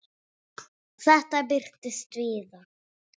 Þetta birtist víða.